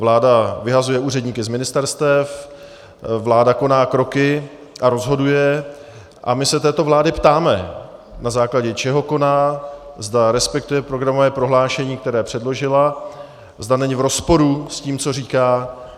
Vláda vyhazuje úředníky z ministerstev, vláda koná kroky a rozhoduje a my se této vlády ptáme, na základě čeho koná, zda respektuje programové prohlášení, které předložila, zda není v rozporu s tím, co říká.